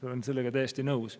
Ma olen sellega täiesti nõus.